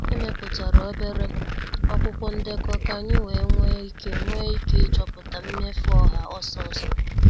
Emeputara obere akwụkwọ ndekọ ka anyị wee nwee ike nwee ike ịchọpụta mmefu ọha ọsọ ọsọ.